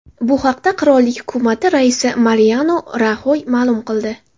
Bu haqda qirollik hukumati raisi Mariano Raxoy ma’lum qildi.